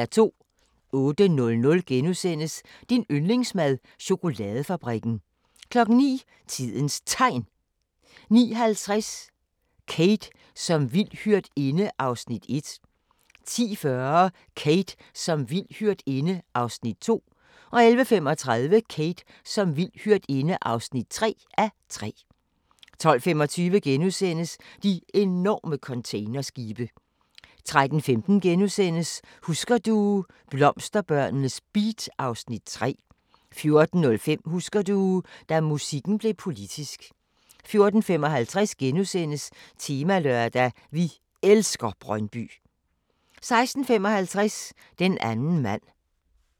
08:00: Din yndlingsmad: Chokoladefabrikken * 09:00: Tidens Tegn 09:50: Kate som vild hyrdinde (1:3) 10:40: Kate som vild hyrdinde (2:3) 11:35: Kate som vild hyrdinde (3:3) 12:25: De enorme containerskibe * 13:15: Husker du - blomsterbørnenes beat (Afs. 3)* 14:05: Husker du – da musikken blev politisk 14:55: Temalørdag: Vi elsker Brøndby * 16:55: Den anden mand